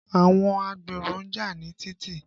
Àwọn agbèrò ń jà ní títì.